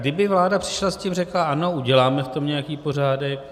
Kdyby vláda přišla s tím, řekla ano, uděláme v tom nějaký pořádek...